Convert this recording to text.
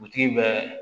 bɛ